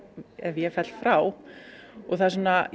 ef ég fell frá það